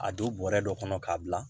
A don bɔrɛ dɔ kɔnɔ k'a bila